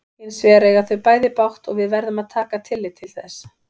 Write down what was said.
Hins vegar eiga þau bæði bágt og við verðum að taka tillit til þess.